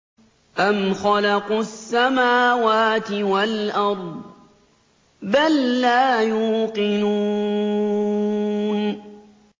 أَمْ خَلَقُوا السَّمَاوَاتِ وَالْأَرْضَ ۚ بَل لَّا يُوقِنُونَ